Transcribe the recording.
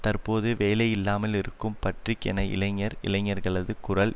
தற்போது வேலை இல்லாமல் இருக்கும் பட்றிக் என்ற இளைஞர் இளைஞர்களது குரல்